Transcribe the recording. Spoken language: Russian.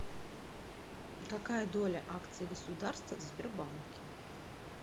какая доля акций государства в сбербанке